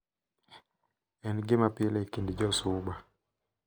En gima pile e kind jo Suba ,.